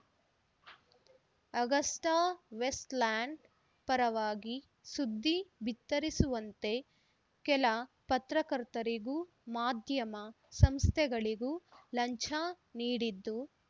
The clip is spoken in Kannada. ಆಗಸ್ಟಾವೆಸ್ಟ್‌ಲ್ಯಾಂಡ್‌ ಪರವಾಗಿ ಸುದ್ದಿ ಬಿತ್ತರಿಸುವಂತೆ ಕೆಲ ಪತ್ರಕರ್ತರಿಗೂ ಮಾಧ್ಯಮ ಸಂಸ್ಥೆಗಳಿಗೂ ಲಂಚ ನೀಡಿದ್ದು